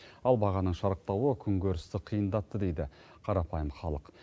ал бағаның шарықтауы күнкөрісті қиындатты дейді қарапайым халық